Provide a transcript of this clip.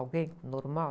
Alguém normal?